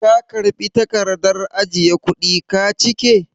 Ka karɓi takardar ajiye kuɗi ka cike?